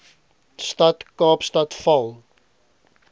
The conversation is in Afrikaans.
stad kaapstad val